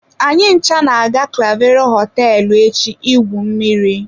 Anyị ncha na-aga clavero hoteelu echi igwu mmiri.